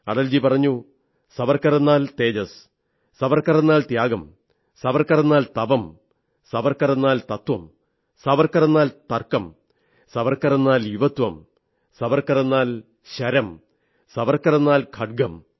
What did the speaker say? അടൽ ജി പറഞ്ഞു സാവർക്കറെന്നാൽ തേജസ് സാവർക്കറെന്നാൽ ത്യാഗം സാവർക്കറെന്നാൽ തപം സാവർക്കറെന്നാൽ തത്വം സാവർക്കറെന്നാൽ തർക്കം സാവർക്കറെന്നാൽ യുവത്വം സാവർക്കറെന്നാൽ ശരം സാവർക്കറെന്നാൽ ഖഡ്ഗം